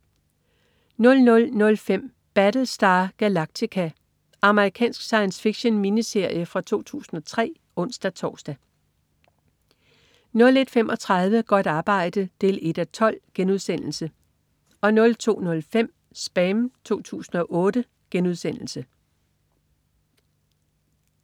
00.05 Battlestar Galactica. Amerikansk science fiction-miniserie fra 2003 (ons-tors) 01.35 Godt arbejde 1:12* 02.05 SPAM 2008*